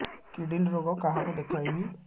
kidney ରୋଗ କାହାକୁ ଦେଖେଇବି